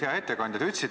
Hea ettekandja!